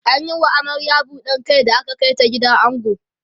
an Yi wa amaryar buɗar Kai da aka Kai ta gidan ango